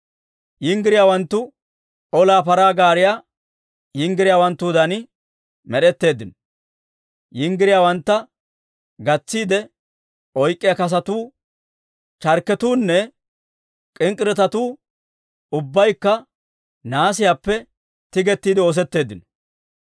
Yinggiriyaawanttu olaa paraa gaariyaa yinggiriyaawanttuudan med'eteeddino; yinggiriyaawantta gatsiide oyk'k'iyaa kasotuu, charkketuunne k'ink'k'iretetuu ubbaykka nahaasiyaappe tigettiide oosetteeddino.